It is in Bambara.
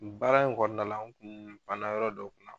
Baara in kɔnɔna na an kun pana yɔrɔ dɔ kunna